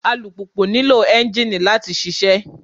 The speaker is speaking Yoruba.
Alùpùpù nílò ẹ́ńjìnì láti ṣiṣẹ́.